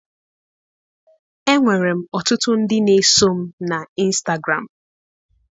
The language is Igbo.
Enwere m ọtụtụ ndị na-eso m na Ịnstagram.